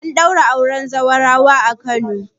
An daura auren zaurawa a Kano